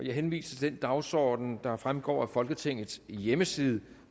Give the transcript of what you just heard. jeg henviser til den dagsorden der fremgår af folketingets hjemmeside